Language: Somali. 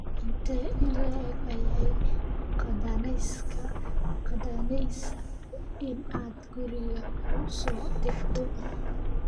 intee in le'eg ayay qaadanaysaa in aad guriga ku soo degto